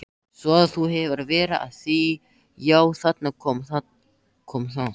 Svo þú hefur verið að því já, þarna kom það.